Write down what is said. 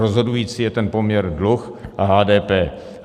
Rozhodující je ten poměr dluh a HDP.